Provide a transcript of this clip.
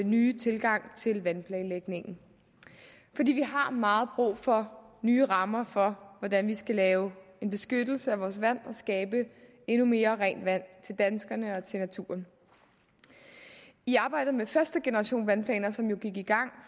nye tilgang til vandplanlægningen vi har meget brug for nye rammer for hvordan vi skal lave en beskyttelse af vores vand og skabe endnu mere rent vand til danskerne og til naturen i arbejdet med førstegenerationsvandplanerne som jo gik i gang